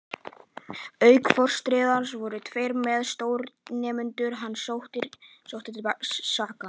Auk forstjórans voru tveir meðstjórnendur hans sóttir til saka.